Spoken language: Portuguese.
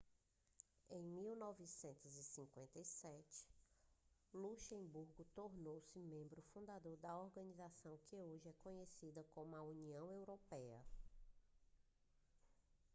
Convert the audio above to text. em 1957 luxemburgo tornou-se membro fundador da organização que hoje é conhecida como união europeia